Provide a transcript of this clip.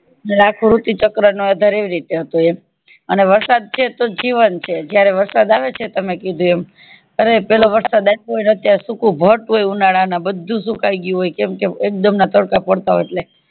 ને અખો ઋતુ ચક્ર નો આધારે આવી રીતે હતો એમ અને વરસાદ છે તોજ જીવન છે જયારે વરસાદ આવે ને છે તમે કીધું એમ અને પેલો વરસાદ આવ્યો હોય ને અત્યારે સુકું બળતું હોય ઉનાળાનું બધું સુકાય ગયું હોય કેમ કે એક્દુમ ના તડકા પડતા હોય એટલે